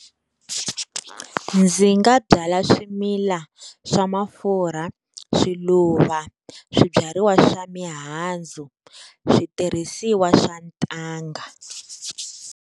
Ndzi nga byala swimila swa mafurha, swiluva, swibyariwa swa mihandzu, switirhisiwa swa ntanga.